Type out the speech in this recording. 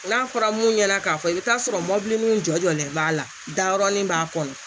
N'a fɔra mun ɲɛna k'a fɔ i bɛ t'a sɔrɔ mɔbilininw jɔjɔlen b'a la darɔnin b'a kɔnɔ